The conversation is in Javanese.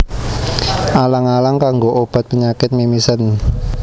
Alang alang kanggo obat penyakit mimisen